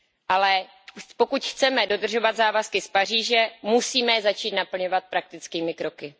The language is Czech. Ale pokud chceme dodržovat závazky z Paříže, musíme je začít naplňovat praktickými kroky.